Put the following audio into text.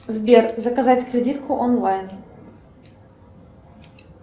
сбер заказать кредитку онлайн